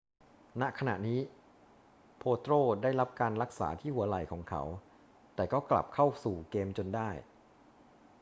ณ ขณะนี้ potro ได้รับการรักษาที่หัวไหล่ของเขา แต่ก็กลับเข้าสู่เกมจนได้